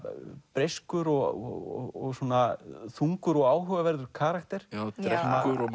breyskur og þungur og áhugaverður karakter já drekkur og